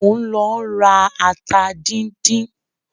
Mò ń lọ ra ata díndín.